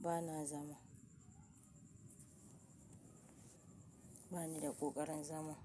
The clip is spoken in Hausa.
bana zama. Bani da kokarin zama.